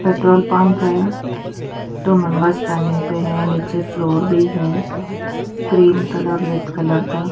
petrol pump है two members turning पे है नीचे फ्लोर भी है ग्रीन कलर लेड कलर का --